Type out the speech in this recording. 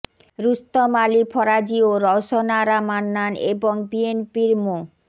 রুস্তম আলী ফরাজী ও রওশন আরা মান্নান এবং বিএনপির মো